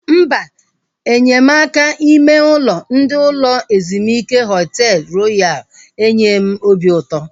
Mba, enyemaka ime ụlọ ndị ụlọ ezumike Họtel Royal enyeghị m obi ụtọ